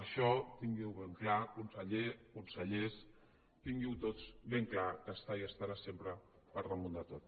això tingui ho ben clar conseller consellers tinguin ho tots ben clar que està i estarà sempre per damunt de tot